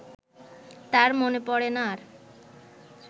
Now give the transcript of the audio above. তার মনে পড়ে না আর